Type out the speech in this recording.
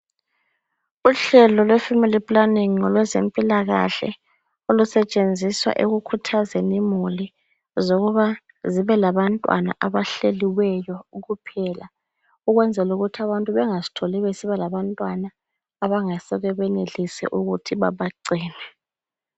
Uhlelo lwefamily planning ngolwezempilakahle olusetshenziswa ekukhuthazeni imuli zokuba zibelabantwana abahleliweyo kuphela ukwenzela ukuthi abantu bengazitholi besiba labantwana abangasoke benelise ukuthi babagcine.